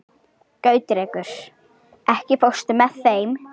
Gautrekur, ekki fórstu með þeim?